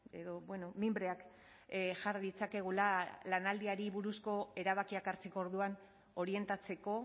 edo mimbreak jar ditzakegula lanaldiari buruzko erabakiak hartzeko orduan orientatzeko